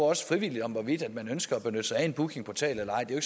også frivilligt hvorvidt man ønsker at benytte sig af en bookingportal eller ej det er